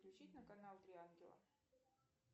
включить на канал три ангела